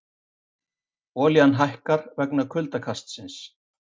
Olían hækkar vegna kuldakastsins